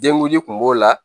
Denguli kun b'o la